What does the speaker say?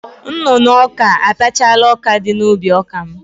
Nnụnụ ọka atachala ọkadị n'ubi ọka m.